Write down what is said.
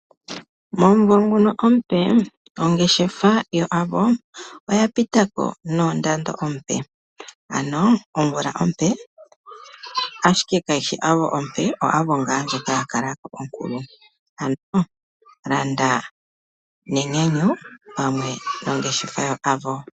Momunvo ngono omupe, ongeshefa yoAvo oya pitako noondando oompe, ano omvula ompe, ashike ka yishi Avo omupe, oAvo ngaa ndjoka ya ka lako onkulu, ano landa nenyanyu, opamwe nongeshefa yaAvo.